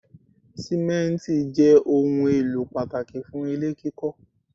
Simenti jẹ́ ohùn èlò pàtàkì fún ilé kíkọ